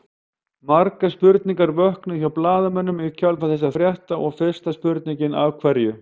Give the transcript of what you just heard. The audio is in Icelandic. Margar spurningar vöknuðu hjá blaðamönnum í kjölfar þessa frétta og fyrsta spurningin Af hverju?